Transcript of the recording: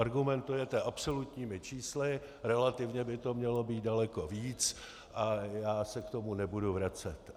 Argumentujete absolutními čísly, relativně by to mělo být daleko víc a já se k tomu nebudu vracet.